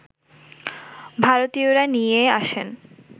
ভারতীয়রা নিয়ে আসেন